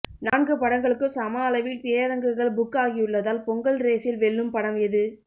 நான்கு படங்களுக்கும் சம அளவில் திரையரங்குகள் புக் ஆகியுள்ளதால் பொங்கல் ரேஸில் வெல்லும் படம் எது